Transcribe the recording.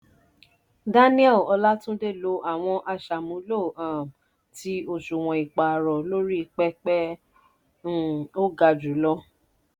daniel ọlátúndé lo àwọn aṣàmúlò um ti òṣùwọ̀n ìpààrọ̀ lórí i pẹpẹ um ó ga jùlọ